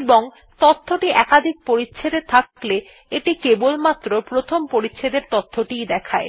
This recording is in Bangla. এবং তথ্যটি একাধিক পরিচ্ছেদ এ থাকলে এটি কেবলমাত্র প্রথম পরিচ্ছেদ এর তথ্যটি ই দেখায়